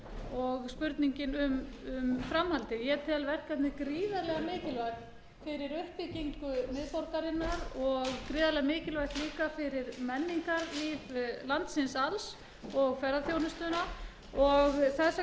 og spurningin er um framhaldið ég tel verkefnið gríðarlega mikilvægt fyrir uppbyggingu miðborgarinnar og gríðarlega mikilvægt líka fyrir menningarlíf landsins alls og ferðaþjónustuna og þess vegna langaði mig til að spyrja